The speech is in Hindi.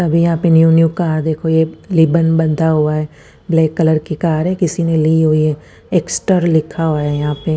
अभी यहां पे न्यू न्यू कार निकली लेबल बंधा हुआ है ब्लैक कलर की कार है किसी ने नई ली है एक्सटर लिखा हुआ है यह पे--